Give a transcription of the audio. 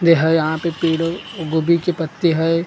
ये है यहां पे गोबी के पत्ते है--